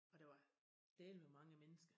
Og der var dælme mange mennesker